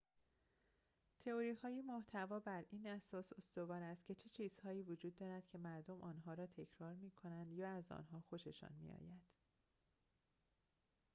تئوری‌های محتوا بر این اساس استوار است که چه چیزهایی وجود دارد که مردم آنها را تکرار می‌کنند یا از آنها خوششان می‌آید